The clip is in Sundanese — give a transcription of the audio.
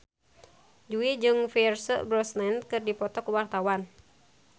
Jui jeung Pierce Brosnan keur dipoto ku wartawan